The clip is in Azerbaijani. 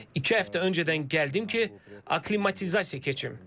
İki həftə öncədən gəldim ki, aklimatizasiya keçim.